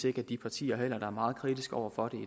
ikke at de partier der er meget kritiske over for